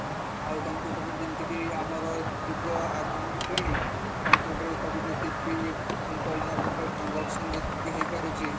ଆଉ computerରେ ଯେମିତିକି ଆମର ଯୁଗ ଆଗକୁ ଗଲାଣି computer ସବୁ ଯେତିକି ପଇସା ପତ୍ର transaction ଯେତିକି ହେଇପାରୁଛି